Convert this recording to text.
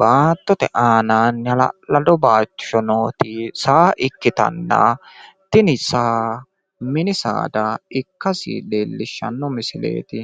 baattote aanaanni halallado bayiichcho nooti saa ikkitanna tini saa mini saada ikkasi leelishanno misileeti.